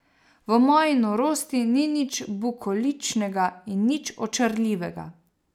V moji norosti ni nič bukoličnega in nič očarljivega.